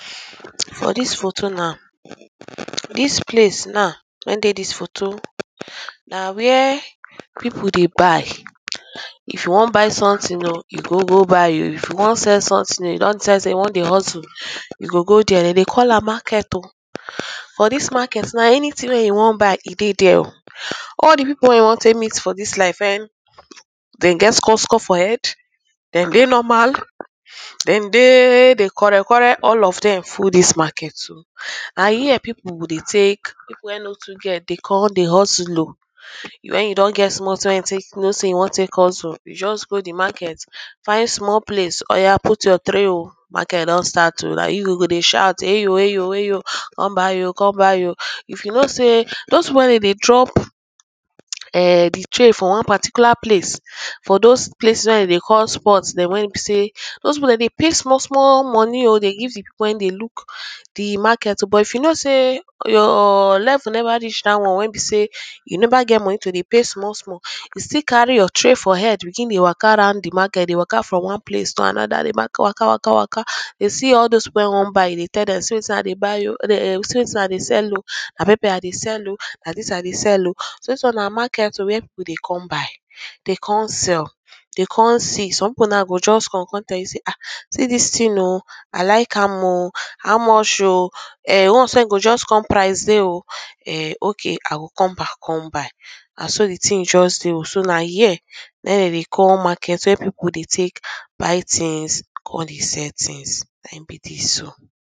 for dis photo now, dis place now wey dey dis photo na where people dey buy. If you wan buy something oh, you go go buy um. If you wan sell something um, you don decide sey you wan dey hustle, you go go dere. De dey call am market um. For dis market now anything wey you wan buy, e dey dere. All the people when you wan take meet for dis life when de get skosko for head, dem dey normal, dem dey they quarel quarel all of dem full dis market so. [um].Na here people go dey take, people wey no too get they come dey hustle um when you don get small thing when you take know sey you wan take hustle, you just go the market find small place, oya put your tray um. Market don start um. Na you go go dey shout eyo eyo eyo, come buy um, come buy um. If you know sey dos people wey dem dey drop um the tray for one particular place. For dos place when de dey call spot den when be sey, dos people dem dey pay small small money um dey give people wey dey look the market oh. But if you know sey your level never reach dat one wey be sey um you never get money to dey pay small small. You still carry your tray for head begin dey waka round the market. They waka from one place to another the market waka waka waka um. You see all dos people wey wan buy, you dey tell dem see wetin i dey buy um [um]see wetin i dey sell um. um Na pepper i dey sell um. Na dis i dey sell um. So dis one na market um where people dey come buy, um dey con sell, um dey con see. Some people now go just come con tell you sey um see dis thing oh. um I like am um. How much um? um the ones wey go just con price dey um. um okay i go come back con buy. Na so the thing just dey um. So na here um na im de dey call market where people dey take buy things con dey sell things. Na im be dis so.